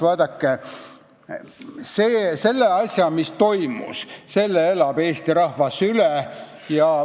Vaadake, selle asja, mis toimus, elab Eesti rahvas üle.